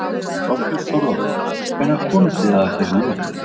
Þorbjörn Þórðarson: Hvenær komust þið að þessari niðurstöðu?